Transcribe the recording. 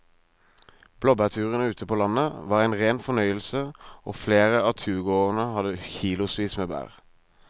Blåbærturen ute på landet var en rein fornøyelse og flere av turgåerene hadde kilosvis med bær.